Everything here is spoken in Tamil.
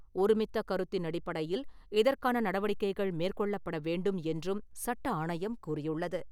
ஒருமித்த கருத்தின் அடிப்படையில் இதற்கான நடவடிக்கைகள் மேற்கொள்ளப்பட வேண்டும் என்றும் சட்ட ஆணையம் கூறியுள்ளது.